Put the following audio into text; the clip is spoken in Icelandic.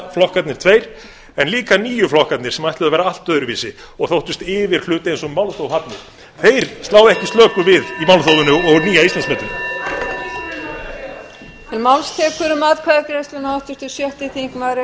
sósíalistaflokkarnir tveir en líka nýju flokkarnir sem ætluðu að vera allt öðruvísi og þóttust yfir hluti eins og málþóf hafnir þeir slá ekki slöku við í málþófinu og nýja íslandsmetinu